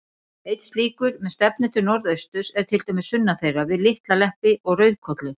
Einn slíkur, með stefnu til norðausturs, er til dæmis sunnan þeirra, við Litla-Leppi og Rauðkolla.